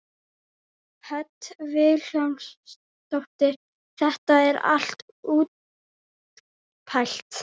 Hödd Vilhjálmsdóttir: Þetta er allt útpælt?